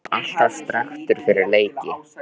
Hann var alltaf strekktur fyrir leiki.